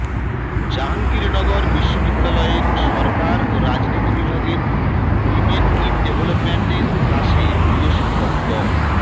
জাহাঙ্গীরনগর বিশ্ববিদ্যালয়ের সরকার ও রাজনীতি বিভাগের উইমেন ইন ডেভেলপমেন্ট এর ক্লাসে প্রিয় শিক্ষক ড